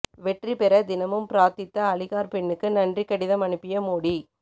வெற்றி பெற தினமும் பிரார்த்தித்த அலிகார் பெண்ணுக்கு நன்றி கடிதம் அனுப்பிய மோடி